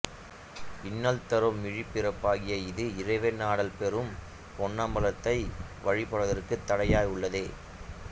இன்னல்தரும் இழிபிறப்பாகிய இது இறைவன் ஆடல் புரியும் பொன்னம்பலத்தை வழிபடுவதற்குத் தடையாயுள்ளதே